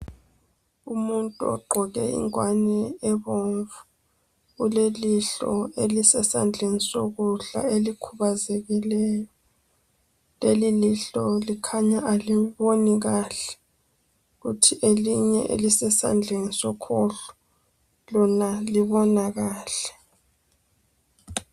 Umuntu ogqoke ingwane ebomvu ulelihlo elisesandleni sokudla elikhubazekileyo ,lelilihlo likhanya aliboni kahle kuthi elinye elisesandleni sokhohlo lona libona kahle.